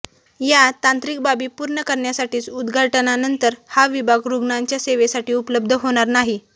या तांत्रिक बाबी पूर्ण करण्यासाठीच उद्घाटनानंतर हा विभाग रुग्णांच्या सेवेसाठी उपलब्ध होणार नाही